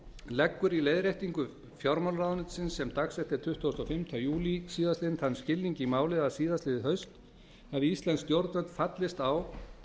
leggur í leiðréttingu fjármálaráðuneytisins sem dagsett er tuttugasti og fimmti júlí síðastliðinn þann skilning í málið að síðastliðið haust hafi íslensk stjórnvöld fallist á